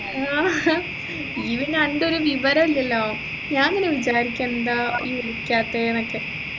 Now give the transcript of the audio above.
ആഹാ നി പിന്നെ അൻറെ ഒരു വിവരില്ലല്ലോ ഞാൻ പിന്നെ വിചാരിക്കും എന്താ വിളിക്കാതെന്നൊക്കെ